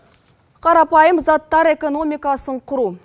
қарапайым заттар экономикасын құру